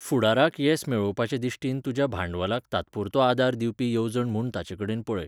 फुडाराक येस मेळोवपाचे दिश्टीन तुज्या भांडवलाक तात्पुरतो आदार दिवपी येवजण म्हूण ताचेकडेन पळय.